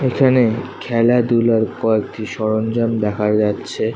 এখানে খেলাধুলার কয়েকটি সরঞ্জাম দেখা যাচ্ছে।